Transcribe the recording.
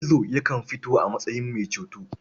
Gizo yakan fito a matsayin mai ceto.